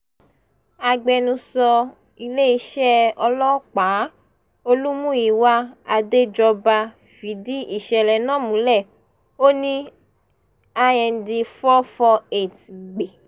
agbẹnusọ iléeṣẹ́ ọlọ́pàá olùmúyíwá àdéjọba fìdí ìṣẹ̀lẹ̀ náà múlẹ̀ ó ní Ind four four eight gbe